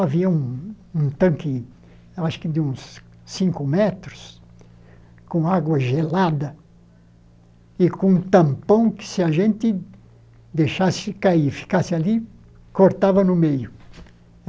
Havia um um tanque acho que de uns cinco metros com água gelada e com um tampão que, se a gente deixasse cair, ficasse ali, cortava no meio.